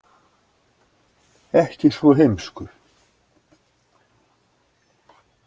Ekki svo heimskur.